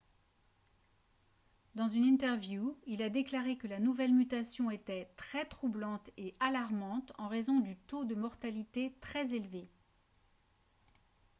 "dans une interview il a déclaré que la nouvelle mutation était "très troublante et alarmante en raison du taux de mortalité très élevé"".